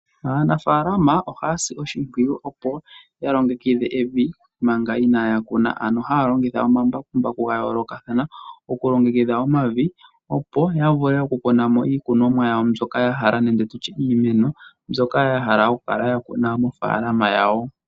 Aanafaalama ohaya si oshipwiyu opo ya longekidhe evi manga inaya kuna, ano haya longitha omambakumbaku ga yoolokathana okulongekidha omavi opo ya vule oku kuna mo iikunonwa yawo mbyoka ya hala nenge tutye iimeno mbyoka ya hala oku kala ya kuna mofaalama yawo.